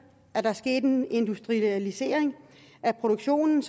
at der skete en industrialisering af produktionen